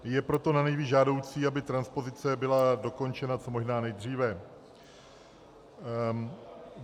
Je proto nanejvýš žádoucí, aby transpozice byla dokončena co možná nejdříve.